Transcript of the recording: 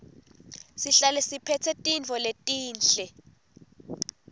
sihlale siphetse tintfo letinhle